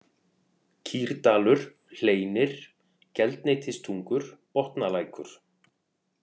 Kýrdalur, Hleinir, Geldneytistungur, Botnalækur